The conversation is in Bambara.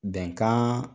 Bɛnkan